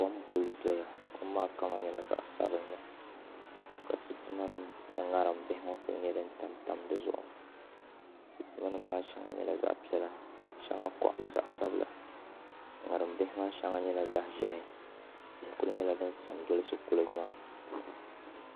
Kom n kuli doya ŋo kom maa kama nyɛla zaɣ sabinli ka sitima nim ni ŋarim bihi bihi ŋo kuli tam di zuɣu sitima nim maa shɛŋa nyɛla zaɣ piɛla ka shɛŋa koɣali zaɣ sabila ŋarim bihi maa shɛŋa nyɛla zaɣ ʒiɛhi tihi ku nyɛla din sa m dolisi kuliga maa